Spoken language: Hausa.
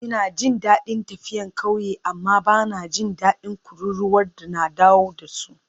Ina jin daɗin tafiya ƙauyen amma ba na jin daɗin kururuwar da na dawo da su.